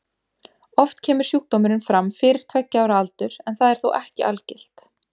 Oft kemur sjúkdómurinn fram fyrir tveggja ára aldur en það er þó ekki algilt.